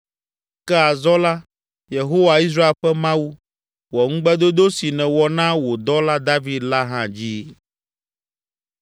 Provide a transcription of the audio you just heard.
Ke azɔ la, Yehowa, Israel ƒe Mawu, wɔ ŋugbedodo si nèwɔ na wò dɔla David la hã dzi.